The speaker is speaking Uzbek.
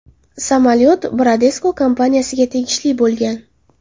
Samolyot Bradesco kompaniyasiga tegishli bo‘lgan.